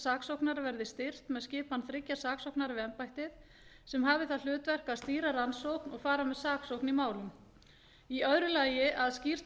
saksóknara verði styrkt með skipan þriggja saksóknara við embættið sem hafi það hlutverk að stýra rannsókn og fara með saksókn í málum í öðru lagi að skýrt